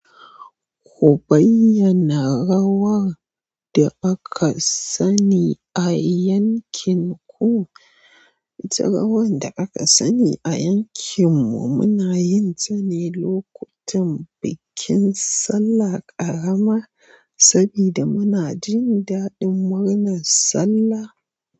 Ku bayyana rawar da aka sani a yankin ku. Ita rawar da aka sani a yankinmu muna yin ta ne lokutan bikin sallar ƙarama, saboda muna jin daɗin murnar sallah.